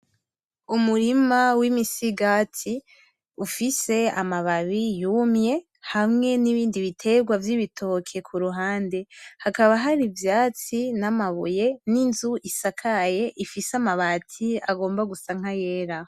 Umurima w'imisigati ufise amababi yumye hamwe n'ibindi bitegwa vy'ibitoki kuruhande hakaba hari ivyatsi ,n'amabuye, n'inzu isakaye ifise amabati agomba gusa nkayera.